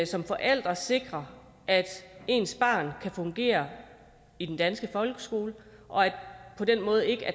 som forælder sikrer at ens barn kan fungere i den danske folkeskole og at